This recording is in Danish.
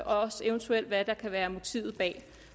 også eventuelt hvad der kan være motivet bag